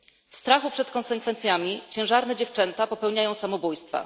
W strachu przed konsekwencjami ciężarne dziewczęta popełniają samobójstwa.